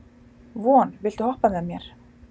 Von, viltu hoppa með mér?